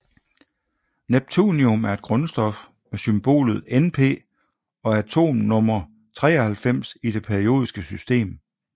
Neptunium er et grundstof med symbolet Np og atomnummer 93 i det periodiske system